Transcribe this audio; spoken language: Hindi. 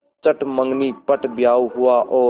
चट मँगनी पट ब्याह हुआ और